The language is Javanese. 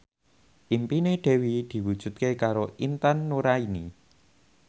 impine Dewi diwujudke karo Intan Nuraini